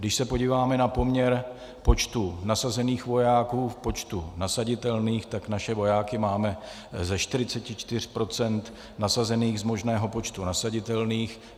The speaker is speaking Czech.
Když se podíváme na poměr počtu nasazených vojáků k počtu nasaditelných, tak naše vojáky máme ze 44 % nasazených z možného počtu nasaditelných.